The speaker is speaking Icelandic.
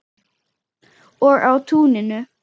Og á túninu.